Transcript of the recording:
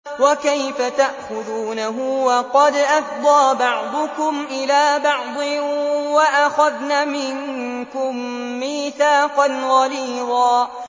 وَكَيْفَ تَأْخُذُونَهُ وَقَدْ أَفْضَىٰ بَعْضُكُمْ إِلَىٰ بَعْضٍ وَأَخَذْنَ مِنكُم مِّيثَاقًا غَلِيظًا